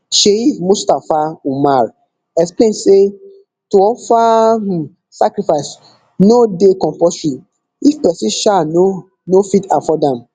sheikh mustapha umar explain say to offer um sacrifice no dey compulsory if pesin um no no fit afford am